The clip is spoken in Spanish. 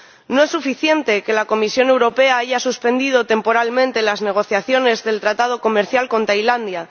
No es suficiente que la Comisión Europea haya suspendido temporalmente las negociaciones del tratado comercial con Tailandia